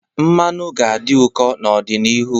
Mmanụ ga-adị ụkọ n'ọdịnihu.